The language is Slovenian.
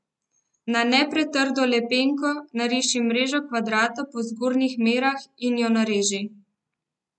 Na ne pretrdo lepenko nariši mrežo kvadra po zgornjih merah in jo izreži.